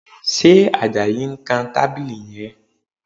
Ṣe Àjàyí ń kan tábìlì yẹn?